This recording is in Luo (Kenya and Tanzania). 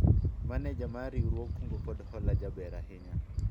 maneja mar riwruog kungo kod hola jaber ahinya